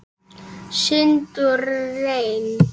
Sýnd og reynd.